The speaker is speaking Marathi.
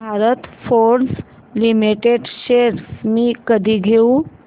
भारत फोर्ज लिमिटेड शेअर्स मी कधी घेऊ